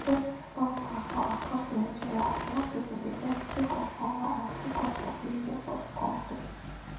protest don start for across nigeria as young pipo dey vex sake of hunger and high cost of living for di kontri